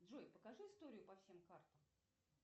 джой покажи историю по всем картам